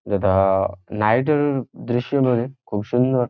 এটা-আ night -এর দৃশ্য বলে খুব সুন্দর।